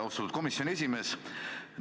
Austatud komisjoni esimees!